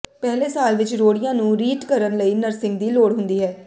ਪਹਿਲੇ ਸਾਲ ਵਿੱਚ ਰੋੜੀਆਂ ਨੂੰ ਰੀਟ ਕਰਨ ਲਈ ਨਰਸਿੰਗ ਦੀ ਲੋੜ ਹੁੰਦੀ ਹੈ